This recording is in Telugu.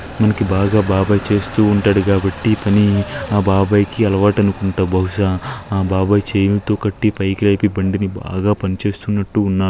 మనకి బాగా బాబాయ్ చేస్తూ ఉంటారు కాబట్టి పని ఆ బాబాయి కి అలవాటు అనుకుంట భావుస ఆ బాబాయ్ చైన్ తో కట్టి పైకి లేపి బండిని బాగా పని చేస్తూ ఉన్నట్టు ఉన్నార--